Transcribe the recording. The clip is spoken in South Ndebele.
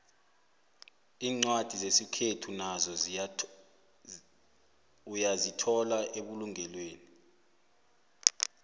incwadi zesikhethu nazo uyazithola ebulunqweni